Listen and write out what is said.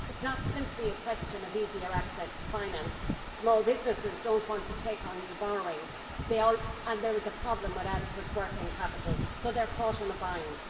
It is not simply a question of easier access to finance small businesses do not want to take on new borrowings and there is a problem with adequate working capital so they are caught in a bind.